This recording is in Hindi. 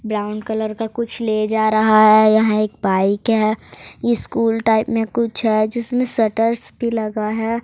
ब्राउन कलर का कुछ ले जा रहा है यहाँ एक बाइक है ई स्कूल टाइप में कुछ है जिसमें शटर्स भी लगा है।